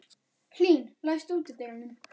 Hlín, læstu útidyrunum.